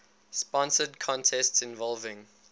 sponsored contests involving